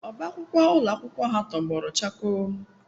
Ọbá akwụkwọ ụlọ akwụkwọ ha tọgbọrọ chakoo